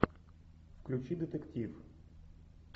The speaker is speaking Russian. включи детектив